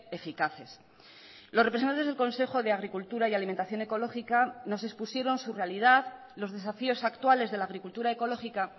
eficaces los representantesdel consejo de agricultura y alimentación ecológica nos expusieron su realidad los desafíos actuales de la agricultura ecológica